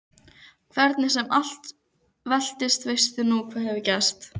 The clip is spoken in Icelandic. Hvernig sem allt veltist veistu nú hvað gerst hefur.